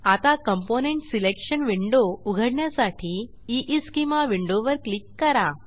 आता component selection window उघडण्यासाठी ईस्केमा विंडोवर क्लिक करा